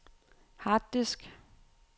harddisk